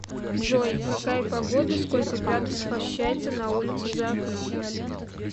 джой какая погода сколько градусов ощущается на улице за окном